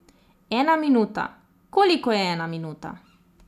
Ena minuta, koliko je ena minuta?